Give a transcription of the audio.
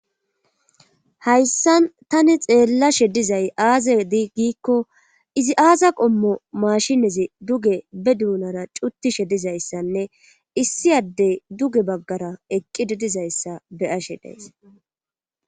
hayssan tani xeellashe dizay aaza diigiikko izi aaza qommo mashinezi duge be duunara cuttishe dizayssanne issi addey duge baggara eqqi dedizayssa beyashe days